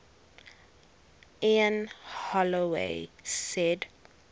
ian holloway said